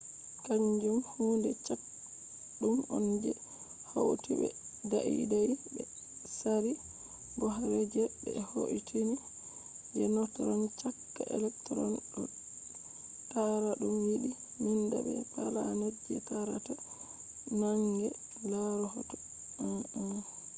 kanjum hude caɗɗum on je hauti be daidai be tsari bohr je ɓe hoitini je neutron caka electron ɗo taara ɗum yiɗi nanda be planet je taarata naange -laaru hoto 1.1